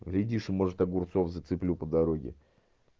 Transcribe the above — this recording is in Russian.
глядишь и может огурцов зацеплю по дороге